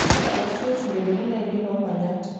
tadala siye siongoliotin lainei lomanyat